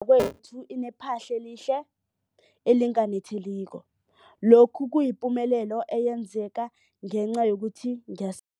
Indlu yakwethu inephahla elihle, elinganetheliko, lokhu kuyipumelelo eyenzeke ngenca yokuthi ngiya